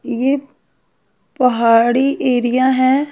ये पहाड़ी एरिया है।